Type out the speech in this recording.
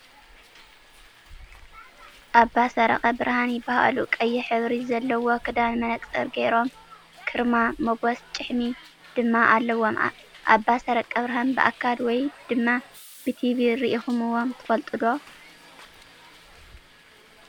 ኣባሰረቀ ብርሃን ይባሃሉ። ቀይሕ ሕብሪ ዘለዎ ክዳን መነፀር ገይሮም ክርማ መጎስ ጭሕሚ ድማ አለዎም። ኣባሰረቀብርሃን ብኣካል ወይ ድማ ብቲቪ ሪኢክምዎም ትፈልጡ ዶ?